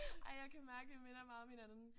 Ej jeg kan mærke vi minder meget om hinanden